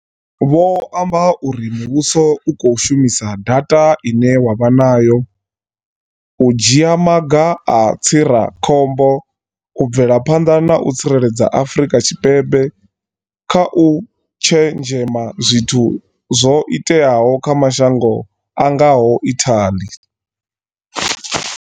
Vho amba uri muvhuso u khou shumisa data ine wa vha nayo u dzhia maga a tsirakhombo u bvela phanḓa na u tsireledza Afrika Tshipembe kha u tshenzhema zwithu zwo iteaho kha mashango a ngaho Italy.